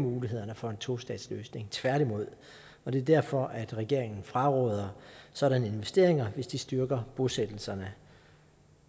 mulighederne for en tostatsløsning tværtimod det er derfor at regeringen fraråder sådanne investeringer hvis de styrker bosættelserne